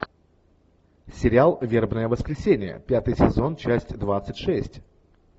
сериал вербное воскресенье пятый сезон часть двадцать шесть